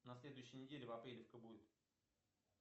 на следуюей неделе в апреле кто будет